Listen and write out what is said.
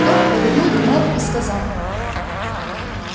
лорд повернул к мэру и сказал